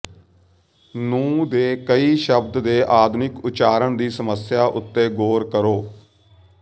ਨੂੰ ਦੇ ਕਈ ਸ਼ਬਦ ਦੇ ਆਧੁਨਿਕ ਉਚਾਰਨ ਦੀ ਸਮੱਸਿਆ ਉੱਤੇ ਗੌਰ ਕਰੋ